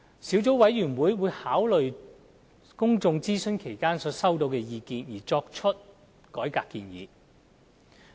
小組委員會在考慮公眾諮詢所收集的意見後，會作出改革建議。